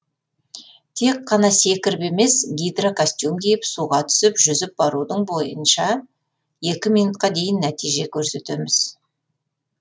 тек қана секіріп емес гидрокостюм киіп суға түсіп жүзіп барудың бойынша екі минутқа дейін нәтиже көрсетеміз